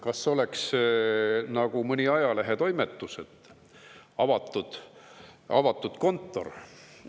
Kas oleks nagu mõni ajalehetoimetus, et on avatud kontor?